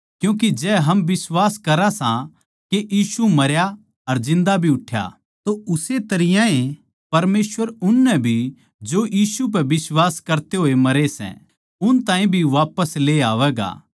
क्यूँके जै हम बिश्वास करा सां के यीशु मरया अर जिन्दा भी उठ्या तो उस्से तरियां ए परमेसवर उननै भी जो यीशु पै बिश्वास करते होए मरै सै उन ताहीं भी वापिस ले आवैगा